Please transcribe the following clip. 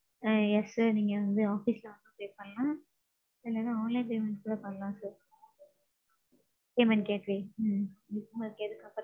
ஆ. Yes Sir. நீங்க வந்து office ல வந்து pay பண்லாம். இல்லனா online payment கூட பண்லாம் sir. payment gateway. ம்ம். உங்களுக்கு எது comfortable